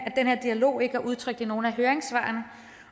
dialog ikke er udtryk i nogen af høringssvarene